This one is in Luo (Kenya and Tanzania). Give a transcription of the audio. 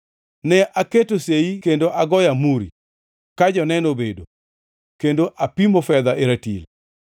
Ne aketo seyi kendo agoyo amuri, ka joneno obedo, kendo apimo fedha e ratil.